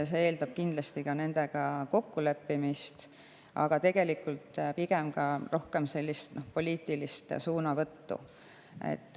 See eeldab kindlasti ka nendega kokkuleppimist, aga tegelikult rohkem poliitilist suunavõttu.